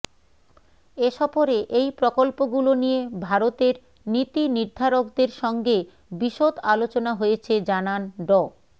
এ সফরে এই প্রকল্পগুলো নিয়ে ভারতের নীতিনির্ধারকদের সঙ্গে বিশদ আলোচনা হয়েছে জানান ড